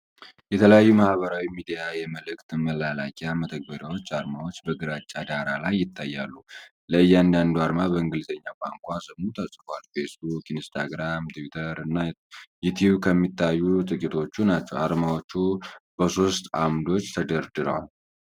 የተለያዩ የማህበራዊ ሚዲያና የመልዕክት መላላኪያ መተግበሪያዎች አርማዎች በግራጫ ዳራ ላይ ይታያሉ። ለእያንዳንዱ አርማ በእንግሊዝኛ ቋንቋ ስሙ ተጽፏል፤ ፌስቡክ፣ ኢንስታግራም፣ ትዊተር እና ዩቲዩብ ከሚታዩት ጥቂቶቹ ናቸው። አርማዎቹ በሶስት ዓምዶች ተደርድረዋል።